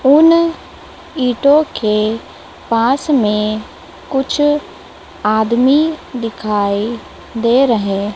उन ईंटों के पास में कुछ आदमी दिखाई दे रहे--